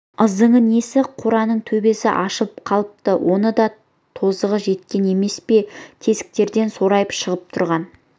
ызыңы несі қораның төбесі ашылып қалыпты оның да тозығы жеткен емес пе тесіктерден сорайып шығып тұрған